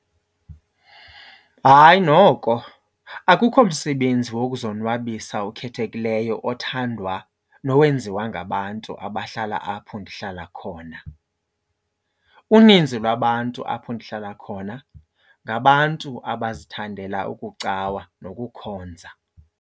Hayi noko, akukho msebenzi wokuzonwabisa okhethekileyo othandwa nowenziwa ngabantu abahlala apho ndihlala khona. Uninzi lwabantu apho ndihlala khona ngabantu abazithandela ukucawa nokukhonza.